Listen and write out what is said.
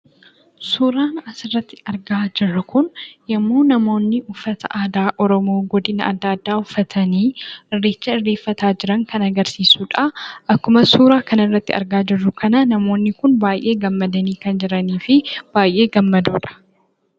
Suuraan asirratti argaa jirru kun yommuu namoonni uffata aadaa Oromoo godina adda addaa uffatanii irreecha irreeffachaa jiran kan agarsiisuu dha. Akkuma suuraa armaan gadii irratti argaa jirru kana namoonni kun baay'ee gammadanii kan jiranii fi baay'ee gammadoodha.